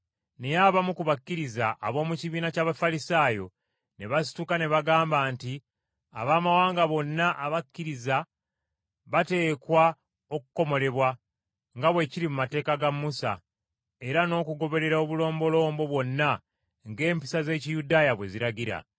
Naye abamu ku bakkiriza, ab’omu kibiina ky’Abafalisaayo, ne basituka ne bagamba nti Abaamawanga bonna abakkiriza bateekwa okukomolebwa nga bwe kiri mu mateeka ga Musa, era n’okugoberera obulombolombo bwonna ng’empisa z’Ekiyudaaya bwe ziragira.